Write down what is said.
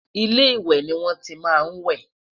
ilé ìwé ní wọn tí má n we